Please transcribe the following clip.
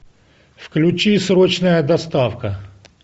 включи срочная доставка